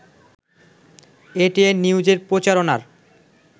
ATN নিউজের প্রচারণার